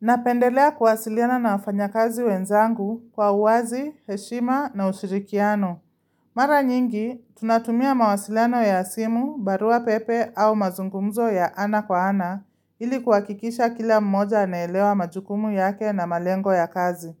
Napendelea kuwasiliana na wafanya kazi wenzangu kwa uwazi, heshima na ushirikiano. Mara nyingi, tunatumia mawasiliano ya simu, barua pepe au mazungumzo ya ana kwa ana ili kuhakikisha kila mmoja anaelewa majukumu yake na malengo ya kazi.